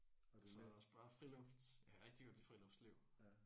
Og så er det også bare friluft. Jeg kan rigtig godt lide friluftsliv